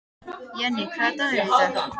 Jenni, hvaða dagur er í dag?